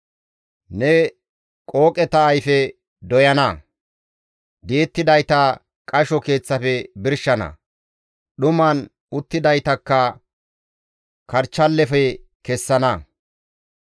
Ne qooqeta ayfe doy7ana; di7ettidayta qasho keeththafe birshana; dhuman uttidaytakka karchchallefe kessana.